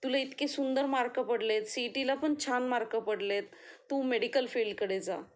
तुला इतकी सुंदर मार्क पडले, सिईटीला पण छान मार्क पडलेत तू मेडिकल फील्ड कडे जा